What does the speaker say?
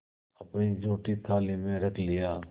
अपनी जूठी थाली में रख लिया